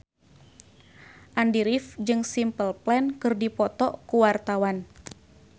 Andy rif jeung Simple Plan keur dipoto ku wartawan